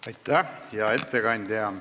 Aitäh, hea ettekandja!